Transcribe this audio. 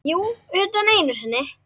Jú, utan einu sinni.